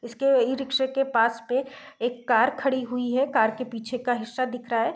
इसके इ रिक्शे के पास पे एक कार खड़ी हुई है कार के पीछे का हिस्सा दिख रहा है।